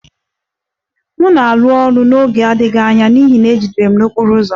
M na-arụ ọrụ n'oge na-adịghị anya n'ihi na e jidere m n'okporo ụzọ